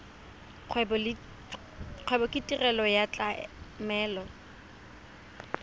kgwebo ke tirelo ya tlamelo